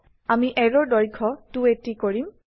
আমি অ্যাৰোৰ দৈৰ্ঘ্য 280কৰিম